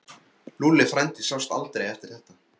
Lúlli frændi sást aldrei eftir þetta.